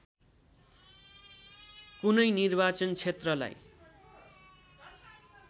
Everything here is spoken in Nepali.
कुनै निर्वाचन क्षेत्रलाई